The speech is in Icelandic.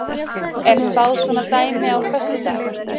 Er spáð svona dæmi á föstudag?